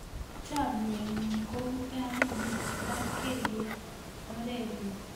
Chomye ng'ung' kou tait ne i lapkei orennyu.